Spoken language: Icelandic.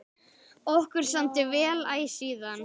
Okkur samdi vel æ síðan.